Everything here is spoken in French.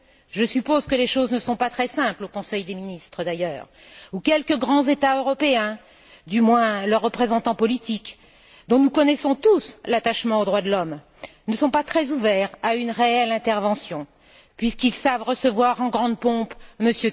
Je suppose que les choses ne sont d'ailleurs pas très simples au Conseil des ministres, d'ailleurs, où quelques grands États européens, du moins leurs représentants politiques, dont nous connaissons tous l'attachement aux droits de l'homme, ne sont pas très ouverts à une réelle intervention, puisqu'ils savent recevoir en grande pompe M.